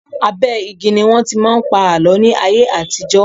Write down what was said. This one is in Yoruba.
Abẹ́ igi ni wọ́n tí máa ń pa àlọ́ ní ayé àtijọ́.